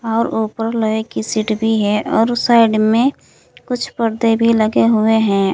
और ऊपर लोहे की सीट भी है और उस साइड में कुछ पर्दे भी लगे हुए हैं।